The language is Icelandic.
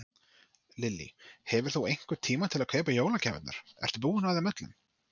Lillý: Hefur þú einhvern tíma til að kaupa jólagjafirnar, ertu búinn að þeim öllum?